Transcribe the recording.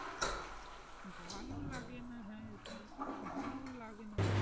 ভালো লাগে না হ্যাঁ এটাই ভালো ও লাগে না,